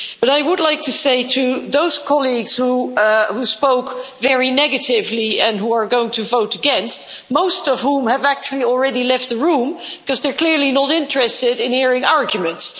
But I would like to say to those colleagues who spoke very negatively and who are going to vote against most of whom have actually already left the room, because they're clearly not interested in hearing arguments!